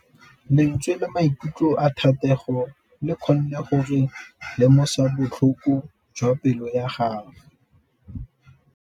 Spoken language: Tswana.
Lentswe la maikutlo a Thategô le kgonne gore re lemosa botlhoko jwa pelô ya gagwe.